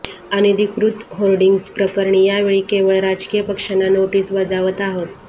अनधिकृत होर्डिंग्जप्रकरणी यावेळी केवळ राजकीय पक्षांना नोटीस बजावत आहोत